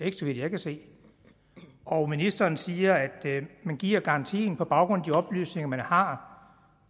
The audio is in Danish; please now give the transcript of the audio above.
ikke så vidt jeg kan se og ministeren siger at man giver garantien på baggrund af de oplysninger man har